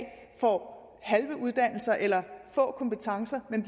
får halve uddannelser eller få kompetencer men